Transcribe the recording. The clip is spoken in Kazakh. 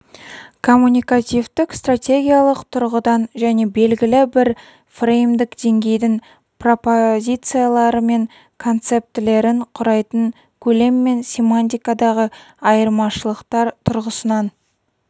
коммуникативтік-стратегиялық тұрғыдан және белгілі бір фреймдік деңгейдің пропозициялары мен концептілерін құрайтын көлем мен семантикадағы айырмашылықтар тұрғысынан